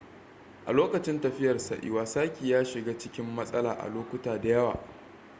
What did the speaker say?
a lokacin tafiyarsa iwasaki ya shiga cikin matsala a lokuta da yawa